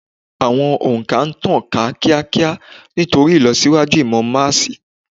Àwọn ò̀ǹkà ń tàn ká kíakíá nítorí ìlọ̀síwájú ìmọ̀ máàsì.